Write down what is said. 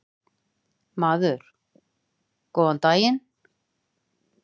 Maður: Góðan daginn.